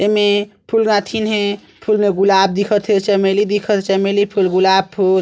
एमे फूल गाथिन हे फूल में गुलाब दिखत हे चमेली दिखत हे चमेली फूल गुलाब फूल--